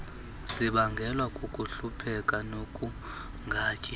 zibangelwa kukuhlupheka nokungatyi